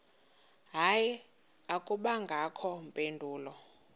hayi akubangakho mpendulo